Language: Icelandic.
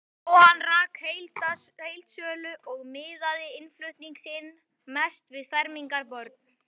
Jóhann rak heildsölu og miðaði innflutning sinn mest við fermingarbörn.